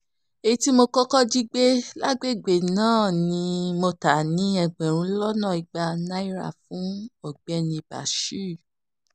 èyí tí mo kọ́kọ́ jí gbé lágbègbè náà ni mo ta ní ẹgbẹ̀rún lọ́nà igba naira fún ọ̀gbẹ́ni bashir